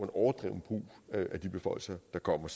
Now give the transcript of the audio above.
overdreven brug af de beføjelser der kommer